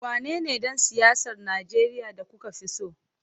Wanene dan siyasar Najeriya da kuka fi so?